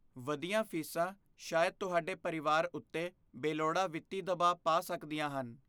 ਵਧੀਆਂ ਫੀਸਾਂ ਸ਼ਾਇਦ ਤੁਹਾਡੇ ਪਰਿਵਾਰ ਉੱਤੇ ਬੇਲੋੜਾ ਵਿੱਤੀ ਦਬਾਅ ਪਾ ਸਕਦੀਆਂ ਹਨ।